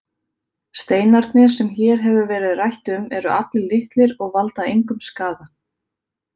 Steinarnir sem hér hefur verið rætt um eru allir litlir og valda engum skaða.